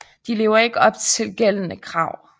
De lever ikke op til gældende krav